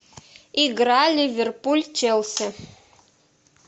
игра ливерпуль челси